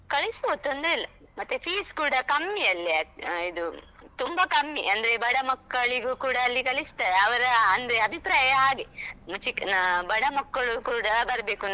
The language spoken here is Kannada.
ಕಳಿಸ್ಬೋದು ತೊಂದ್ರೆ ಇಲ್ಲ. ಮತ್ತೆ fees ಕೂಡಾ ಕಮ್ಮಿ ಅಲ್ಲಿ ಅಹ್ ಇದು ತುಂಬ ಕಮ್ಮಿ ಅಂದ್ರೆ ಬಡ ಮಕ್ಕಳಿಗೂ ಕೂಡಾ ಅಲ್ಲಿ ಕಲಿಸ್ತಾರೆ. ಅವರ ಅಂದ್ರೆ ಅಭಿಪ್ರಾಯ ಹಾಗೆ ಚಿಕ್ ಅಹ್ ಬಡ ಮಕ್ಕಳು ಕೂಡಾ ಬರ್ಬೇಕು.